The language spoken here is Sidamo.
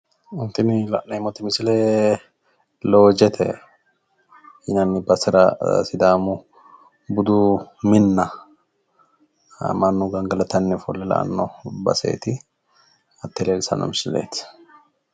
Tini la'neemmoti misile loojete yinanni basera sidaamu budu minna mannu gangalatanni ofolle la"anno baseeti. Hatte leellishshanno misileeeti.